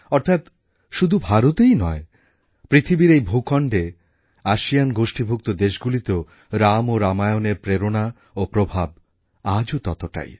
অর্থাৎ শুধু ভারতেই নয় পৃথিবীর এই ভূখণ্ডে আসিয়ান গোষ্ঠীভুক্ত দেশগুলিতেও রাম ও রামায়ণের প্রেরণা ও প্রভাব আজও ততটাই